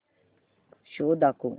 show दाखव